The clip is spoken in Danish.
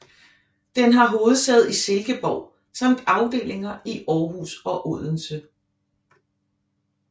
Den har hovedsæde i Silkeborg samt afdelinger i Aarhus og Odense